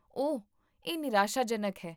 ਓਹ, ਇਹ ਨਿਰਾਸ਼ਾਜਨਕ ਹੈ